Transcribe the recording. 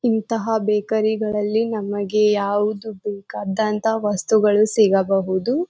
ಇಂತಹ ಬೇಕರಿ ಗಲ್ಲಲ್ಲಿ ನಮಗೆ ಯಾವುದು ಬೇಕಾದಂತಹ ವಸ್ತುಗಳು ಸಿಗಬಹುದು.